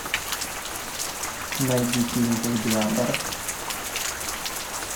найди фильм гладиатор